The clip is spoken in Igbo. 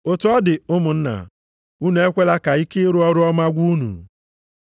Otu ọ dị ụmụnna, unu ekwela ka ike ịrụ ọrụ ọma gwụ unu.